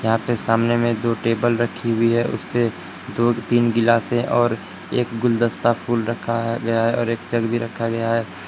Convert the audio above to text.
यहां पे सामने में दो टेबल रखी हुई है उसपे दो तीन गिलासे और एक गुलदस्ता फूल रखा है गया है और एक जग भी रखा गया है।